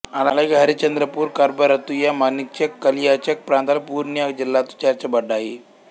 అలాగే హరిశ్చంద్రపూర్ ఖర్బా రతుయా మాణిక్చక్ కలియాచక్ ప్రాంతాలు పుర్నియా జిల్లాతో చేర్చబడ్డాయి